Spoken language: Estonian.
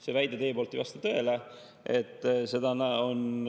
See teie väide ei vasta tõele.